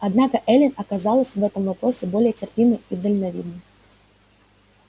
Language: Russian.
однако эллин оказалась в этом вопросе более терпимой и дальновидной